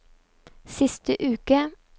siste uke